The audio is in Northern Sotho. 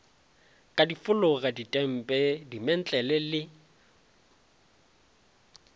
ka difolaga ditempe dimentlele le